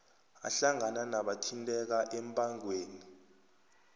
ahlangana nabathinteka embangweni